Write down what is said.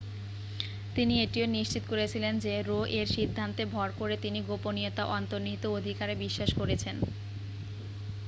তিনি এটিও নিশ্চিত করেছিলেন যে রো-এর সিদ্ধান্তে ভর করে তিনি গোপনীয়তার অন্তর্নিহিত অধিকারে বিশ্বাস করেছেন